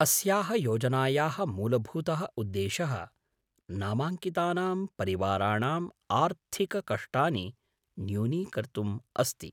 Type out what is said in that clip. अस्याः योजनायाः मूलभूतः उद्देशः नामाङ्कितानां परिवाराणाम् आर्थिककष्टानि न्यूनीकर्तुम् अस्ति।